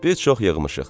Biz çox yığmışıq.